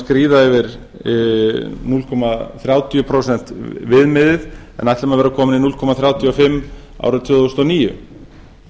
skríða yfir núll komma þrjátíu prósent viðmiðið en ætlum að vera komin í núll komma þrjátíu og fimm prósent árið tvö þúsund og níu